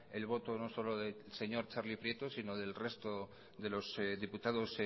el voto no solo del señor txarli prieto sino del resto de los diputados